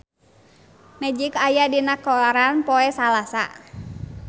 Magic aya dina koran poe Salasa